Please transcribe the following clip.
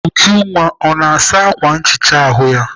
Ujunwa ọ na-asa ákwà nchicha ahụ ya?